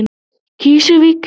Krýsuvík